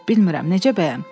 Bilmirəm necə bəyəm?